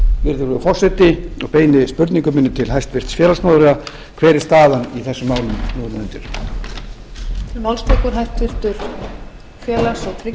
virðulegur forseti og beini spurningu minni til hæstvirts félagsmálaráðherra hver er staðan í þessum málum nú um mundir